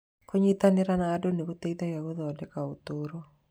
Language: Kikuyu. Kũnyitanĩra na andũ nĩ gũteithagia gũthondeka ũtũũro.